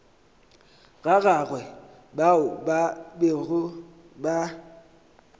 gagwe bao ba bego ba